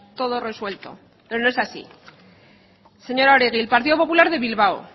todo resuelto pero no es así señora oregi el partido popular de bilbao